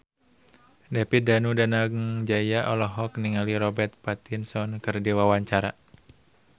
David Danu Danangjaya olohok ningali Robert Pattinson keur diwawancara